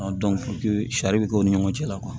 sari bɛ kɛ o ni ɲɔgɔn cɛ la